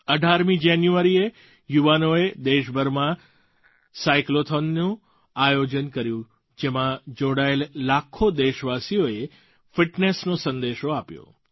18મી જાન્યુઆરીએ યુવાનોએ દેશભરમાં સાઇકલૉથૉનનું આયોજન કર્યું જેમાં જોડાયેલા લાખો દેશવાસીઓએ ફિટનેસનો સંદેશો આપ્યો